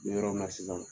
Yɔrɔ min na sisan